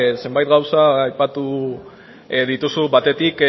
zenbait gauza aipatu dituzu batetik